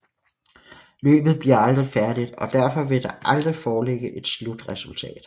Løbet bliver aldrig færdigt og derfor vil der aldrig foreligge et slutresultat